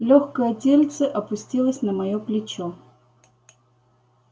лёгкое тельце опустилось на моё плечо